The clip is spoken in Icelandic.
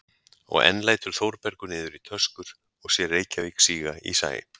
Og enn lætur Þórbergur niður í töskur og sér Reykjavík síga í sæ.